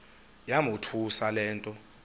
yamothusa le nto